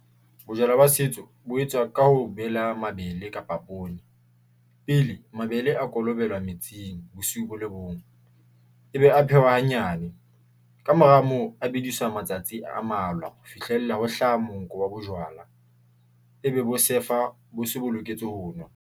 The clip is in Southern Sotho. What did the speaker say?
Bojwala ba setso bo etswa ka ho bela mabele kapa poone pele mabele a kolobela metsing bosiu bo le bong. E be a phehwa hanyane kamora moo a bediswa matsatsi a malwa ho fihlella ho hlaha. Monko wa bojwala e be bo sefa bo se bo loketswe ho nwa.